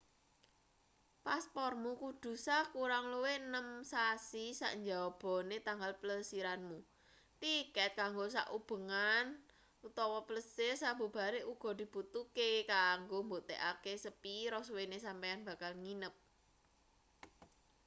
paspormu kudu sah kurang luwih 6 sasi sak njabane tanggal plesiranmu. tiket kanggo sak ubengan/ plesir sabubare uga dibutuhke kanggo mbuktekake sepira suwene sampeyan bakal nginep